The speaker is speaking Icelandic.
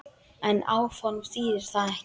En áform þýðir það ekki.